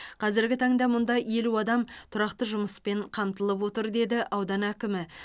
қазіргі таңда мұнда елу адам тұрақты жұмыспен қамтылып отыр деді аудан әкімі